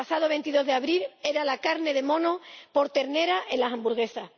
el pasado 22 de abril, era la carne de mono por ternera en las hamburguesas.